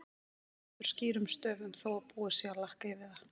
Það stendur skýrum stöfum þó að búið sé að lakka yfir það!